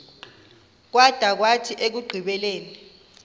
kwada kwathi ekugqibeleni